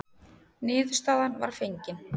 Niðurstaðan var fengin.